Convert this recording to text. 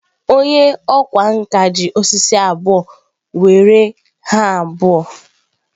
Onye ọkwá nkà ji osisi abụọ were ha abụọ were were were were were were were were were ha abụọ.